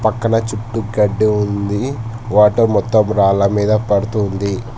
పక్కన చుట్టూ గడ్డి ఉంది వాటర్ మొత్తం రాళ్ల మీద పడుతూ ఉంది.